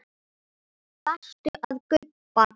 Varstu að gubba?